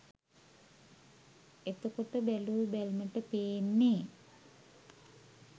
එතකොට බැලූ බැල්මට පේන්නේ